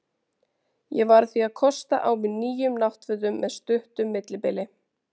Ég varð því að kosta á mig nýjum náttfötum með stuttum millibilum.